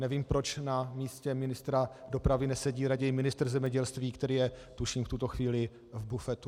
Nevím, proč na místě ministra dopravy nesedí raději ministr zemědělství, který je tuším v tuto chvíli v bufetu.